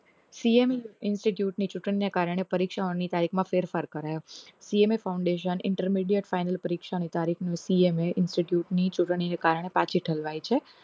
CA ની institute ની ચુકન્યા ના કારણે પરીક્ષાઓની ગાઈડ માં ફેરફાર કર્યો CA ની foundation ની intermediate ફાઈનલ પરીક્ષા ની તારીખ CA ની institute ની ચુંટણી ના કારણે પાછી ઠેલાવાય છે